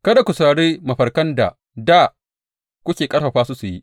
Kada ku saurari mafarkan da dā kuke ƙarfafa su su yi.